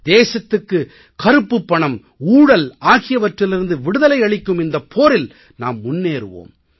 தேசத்துக்கு கருப்புப் பணம் ஊழல் ஆகியவற்றிலிருந்து விடுதலை அளிக்கும் இந்தப் போரில் நாம் முன்னேறுவோம்